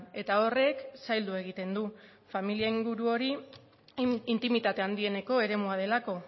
eta horrek zaildu egiten du familia inguru hori intimitate handieneko eremua delako